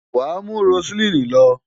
Wàá mú Roseline lọ!